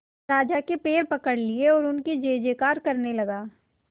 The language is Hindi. राजा के पैर पकड़ लिए एवं उनकी जय जयकार करने लगा